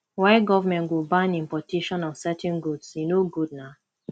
why government go ban importation of certain goods e no good na